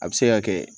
A bɛ se ka kɛ